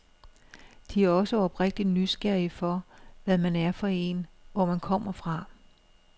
De er også oprigtigt nysgerrige for, hvad man er for en, hvor man kommer fra.